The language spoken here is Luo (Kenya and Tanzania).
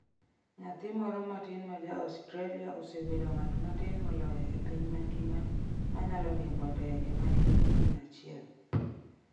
Nyathi moro matin ma ja Australia osebedo ng’at matin moloyo e piny mangima ma nyalo riembo ndege ma nigi injin achiel.